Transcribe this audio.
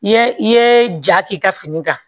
I ye i ye ja k'i ka fini kan